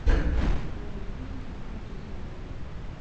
покажи фильм знакомьтесь боб